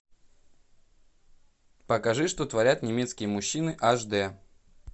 покажи что творят немецкие мужчины аш дэ